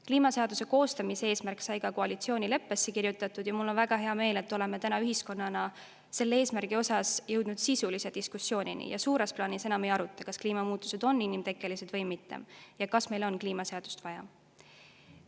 Kliimaseaduse koostamise eesmärk sai ka koalitsioonileppesse kirjutatud ja mul on väga hea meel, et oleme täna ühiskonnana selle eesmärgi osas jõudnud sisulise diskussioonini ja suures plaanis enam ei aruta, kas kliimamuutused on inimtekkelised või mitte ja kas meil on kliimaseadust vaja.